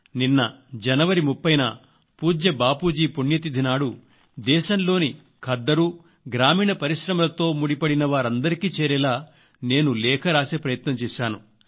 నిన్న జనవరి 30న పూజ్య బాపూజీ పుణ్యతిథి నాడు దేశంలోని ఖద్దరు గ్రామీణ పరిశ్రమలతో ముడిపడిన వారందరికీ చేరేలా నేను లేఖ రాసే ప్రయత్నం చేశాను